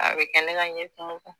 A bɛ kɛ ne ka ɲɛkumu kan.